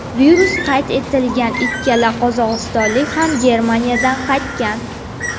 Virus qayd etilgan ikkala qozog‘istonlik ham Germaniyadan qaytgan .